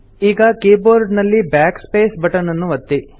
ಈಗ ಕೀಬೋರ್ಡ್ ನಲ್ಲಿ Backspace button ನನ್ನು ಒತ್ತಿ